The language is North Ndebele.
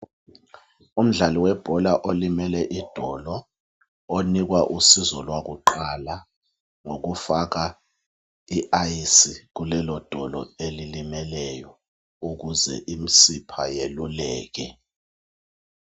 Umdlali webhola olimele idolo onikwa usizo lwakuqala ngokufaka iayisi kulelodolo elilimeleyo ukuze imsipha yeluleke.